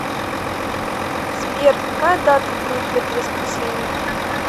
сбер какая дата будет в это воскресенье